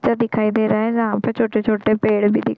बगीचा दिखाई दे रहा है जहाँ पे छोटे-छोटे पेड़ भी दिखाई--